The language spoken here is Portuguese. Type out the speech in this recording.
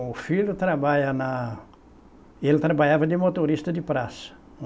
O filho trabalha na, ele trabalhava de motorista de praça.